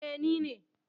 Eh, ni ne.